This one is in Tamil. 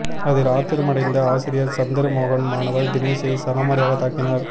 அதில் ஆத்திரமடைந்த ஆசிரியர் சந்திரமோகன் மாணவர் தினேஷை சரமாரியாக தாக்கினார்